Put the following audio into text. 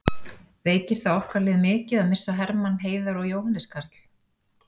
Veikir það okkar lið mikið að missa Hermann, Heiðar og Jóhannes Karl?